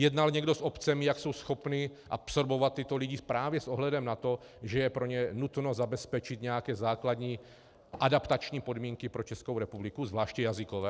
Jednal někdo s obcemi, jak jsou schopny absorbovat tyto lidi právě s ohledem na to, že je pro ně nutno zabezpečit nějaké základní adaptační podmínky pro Českou republiku, zvláště jazykové?